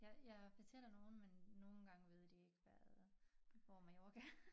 Jeg jeg fortæller nogen men nogle gange ved de ikke hvad hvor Mallorca er